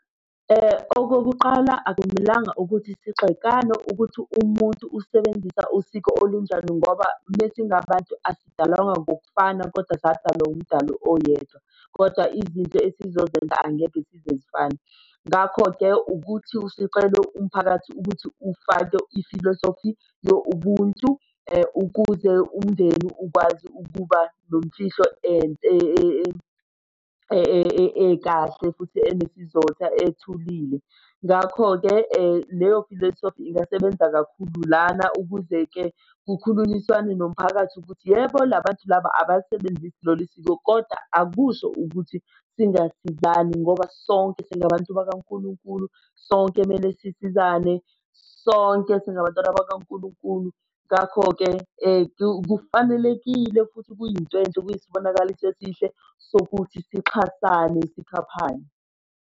Okokuqala akumelanga ukuthi sigxekane ukuthi umuntu usebenzisa usiko olunjani ngoba mesingabantu asidalwanga ngokufana kodwa sadalwa umdali oyedwa, kodwa izinto esizozenza angeke zize zifane. Ngakho-ke ukuthi sicele umphakathi ukuthi ufake ifilosofi yo ubuntu ukuze umndeni ukwazi ukuba nomfihlo ekahle futhi enesizotha ethulile. Ngakho-ke leyo filosofi ingasebenza kakhulu lana ukuze-ke kukhulunyiswane nomphakathi ukuthi yebo la bantu laba abasebenzisi lolu siko kodwa akusho ukuthi singasizani ngoba sonke singabantu bakankulunkulu sonke kumele sisizane sonke singabantwana bakankulunkulu. Ngakho-ke kufanelekile futhi kuyinto enhle kuyisibonakaliso esihle sokuthi sixhasane sikhaphane.